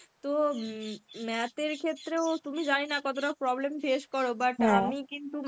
তো math এর ক্ষেত্রেও তুমি জানিনা কতটা problem face কর but আমি কিন্তু